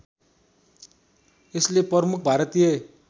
यसले प्रमुख भारतीय